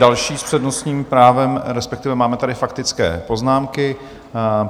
Další s přednostním právem - respektive máme tady faktické poznámky.